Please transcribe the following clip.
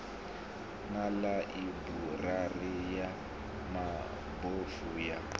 na ḽaiburari ya mabofu ya